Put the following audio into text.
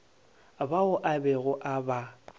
bao a bego a ba